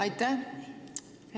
Aitäh!